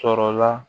Sɔrɔla